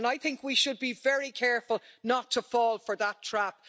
I think we should be very careful not to fall for that trap.